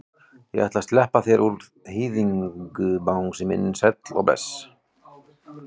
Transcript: Ég ætla að sleppa þér úr hýðinu bangsi minn sæll og bless.